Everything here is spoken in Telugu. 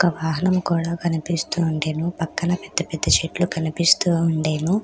ఒక వాహనము కూడా కనిపిస్తూ ఉండెను. పక్కన పెద్ద పెద్ద చెట్లు కనిపిస్తూ ఉండెను.